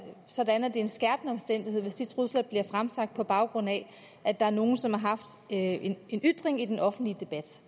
sådan at det er en skærpende omstændighed hvis de trusler bliver fremsat på baggrund af at der er nogle som har haft en ytring i den offentlige debat